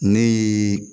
Ne ye